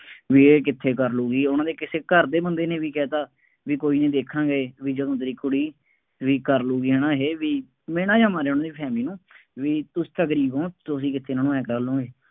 ਬਈ ਇਹ ਕਿੱਥੇ ਕਰ ਲਊਗੀ, ਉਹਨਾ ਦੇ ਕਿਸੇ ਘਰ ਦੇ ਬੰਦੇ ਨੇ ਵੀ ਕਹਿ ਤਾ, ਬਈ ਕੋਈ ਨਹੀਂ ਦੇਖਾਂਗੇ ਬਈ ਜਦੋਂ ਤੇਰੀ ਕੁੜੀ ਬਈ ਕਰ ਲਊਗੀ ਹੈ ਨਾ ਇਹ ਬਈ ਮਿਹਣਾ ਜਾਂ ਮਾਰਿਆ ਉਹਨੇ family ਨੂੰ ਬਈ ਤੁਸੀਂ ਤਾਂ ਗਰੀਬ ਹੋ, ਤੁਸੀਂ ਕਿੱਥੇ ਇਹਨਾ ਨੂੰ ਆਏਂ ਕਰ ਲਉਗੇ।